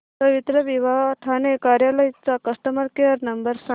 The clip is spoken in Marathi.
पवित्रविवाह ठाणे कार्यालय चा कस्टमर केअर नंबर सांग